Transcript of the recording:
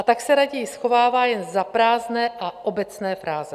A tak se raději schovává jen za prázdné a obecné fráze.